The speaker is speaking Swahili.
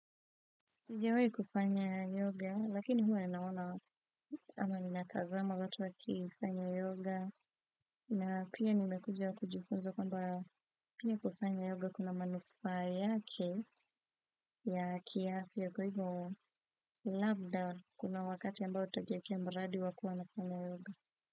Sijawai kufanya yoga lakini huwa ninaona ama ninatazama watu wakifanya yoga. Na pia nimekuja kujifunza kwamba pia kufanya yoga kuna manufa yake ya kihafya kwa hivyo labda kuna wakati ambao utajiekea mradi wa kuwa na kufanya yoga.